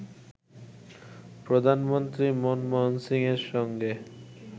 প্রধানমন্ত্রী মনমোহন সিংয়ের সঙ্গে